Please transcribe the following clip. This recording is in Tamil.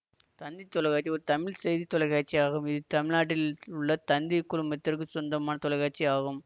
தந்தி தொலைக்காட்சி ஒரு தமிழ் செய்தி தொலைக்காட்சி ஆகும் இது தமிழ்நாட்டில் உள்ள தந்திக் குழுமத்துக்குச் சொந்தமான தொலைக்காட்சி ஆகும்